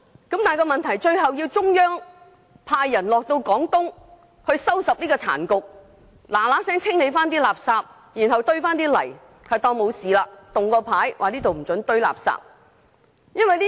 問題是到了最後，竟然要中央派人到廣東收拾殘局，立刻清理垃圾，然後堆上泥土，當作從來沒事發生，並豎立告示牌，禁止進行垃圾堆填。